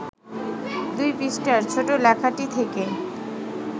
২ পৃষ্ঠার ছোট্ট লেখাটি থেকে